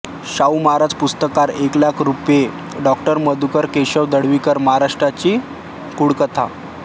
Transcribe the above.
शाहू महाराज पुरस्कार एक लाख रुपये डॉ मधुकर केशव ढवळीकर महाराष्ट्राची कुळकथा